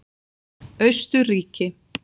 Austurríki